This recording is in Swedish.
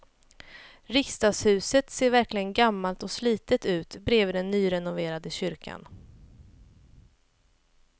Riksdagshuset ser verkligen gammalt och slitet ut bredvid den nyrenoverade kyrkan.